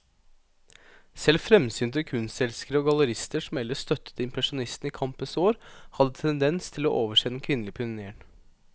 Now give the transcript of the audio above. Selv fremsynte kunstelskere og gallerister som ellers støttet impresjonistene i kampens år, hadde tendens til å overse den kvinnelige pionéren.